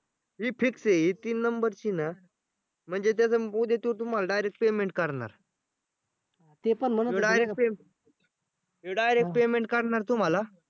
ही fix आहे. ही तीन number ची ना म्हणजे त्याचं उद्या त्यो तुम्हाला direct payment करणार हे direct payment करणार तुम्हाला